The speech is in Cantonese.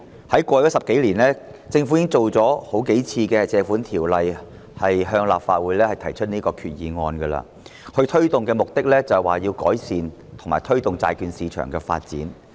在過去10多年，政府曾多次根據《借款條例》向立法會提出決議案，目的是要改善及推動債券市場的發展。